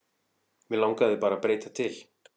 Mig langaði bara að breyta til.